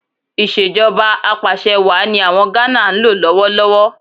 Ìṣèjọba Apàṣẹwàá ni àwọn Gánà ń lò lọ́wọ́ lọ́wọ́